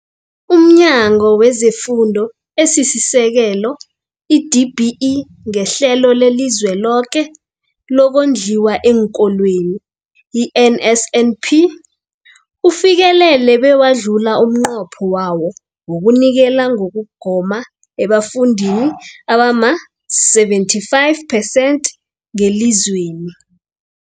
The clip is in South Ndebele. UmNyango wezeFundo esiSekel, i-DBE, ngeHlelo leliZweloke lokoNdliwa eenKolweni, i-NSNP, ufikelele bewadlula umnqopho wawo wokunikela ngokugoma ebafundini abama-75 percent ngelizweni.